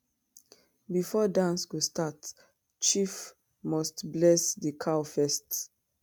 before dance go start chief must bless the cow first.